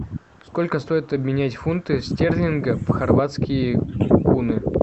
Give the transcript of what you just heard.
сколько стоит обменять фунты стерлингов в хорватские куны